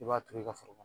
I b'a turu i ka foro